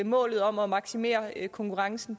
målet om at maksimere konkurrencen